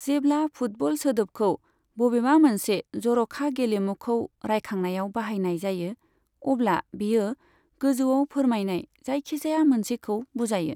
जेब्ला फुटबल सोदोबखौ बबेबा मोनसे जर'खा गेलेमुखौ रायखांनायाव बाहायनाय जायो, अब्ला बेयो गोजौआव फोरमायनाय जायखिजाया मोनसेखौ बुजायो।